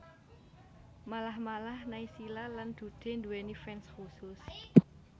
Malah malah Naysila lan Dude nduwèni fans khusus